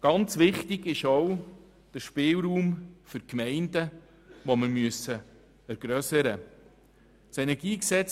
Ganz wichtig ist auch, dass der Spielraum für die Gemeinden vergrössert wird.